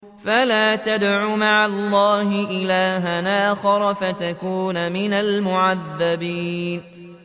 فَلَا تَدْعُ مَعَ اللَّهِ إِلَٰهًا آخَرَ فَتَكُونَ مِنَ الْمُعَذَّبِينَ